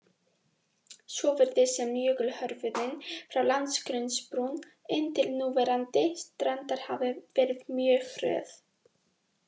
Svo virðist sem jökulhörfunin frá landgrunnsbrún inn til núverandi strandar hafi verið mjög hröð.